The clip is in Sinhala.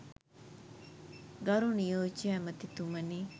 ගරු නියෝජ්‍ය ඇමතිතුමනි